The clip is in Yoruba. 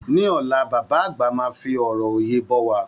Ní ọ̀la, bàbá àgbà máa fi ọrọ òye bọ́ wa.